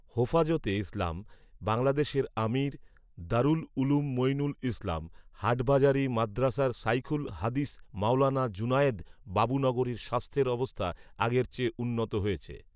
হোফাজতে ইসলাম বাংলাদেশের আমীর, দারুল উলূম মুঈনুল ইসলাম হাটহাজারী মাদ্রাসার ইখুল হাদিস মাওলানা জুনায়েদ বাবুনগরীর স্বাস্থ্যের অবস্থা আগের চেয়ে উন্নত হয়েছে